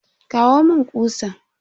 Kawo mun kutsan.